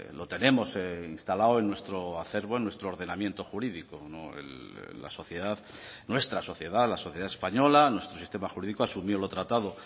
lo tenemos instalado en nuestro acervo en nuestro ordenamiento jurídico la sociedad nuestra sociedad la sociedad española nuestro sistema jurídico asumió lo tratado